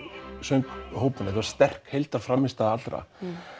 sönghópinn þetta var sterk frammistaða allra